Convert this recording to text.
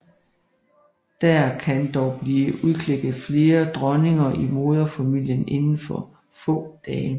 Der kan dog blive udklækket flere dronninger i moderfamilien inden for få dage